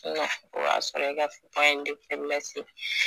o y'a sɔrɔ e ka